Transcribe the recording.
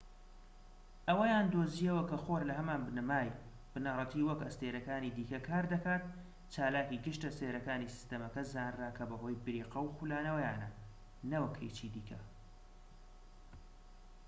ئەوەیان دۆزیەوە کە خۆر لە هەمان بنەمای بنەڕەتی وەک ئەستێرەکانی دیکە کار دەکات چالاکی گشت ئەستێرەکانی سیستەمەکە زانرا کە بەهۆی بریقە و خولانەوەیانە نەوەک هیچی دیکە